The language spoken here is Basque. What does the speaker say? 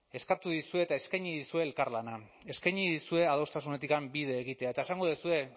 eskatu dizue eta eskaini dizue elkarlana eskaini dizue adostasunetik bide egitea eta esango duzue